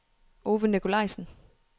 Ove Nicolajsen